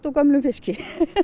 gömlum fiski